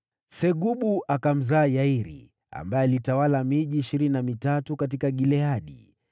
Segubu akamzaa Yairi, ambaye alitawala miji ishirini na mitatu katika Gileadi.